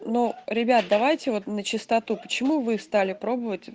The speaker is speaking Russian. ну ребят давайте вот на чистоту почему вы стали пробовать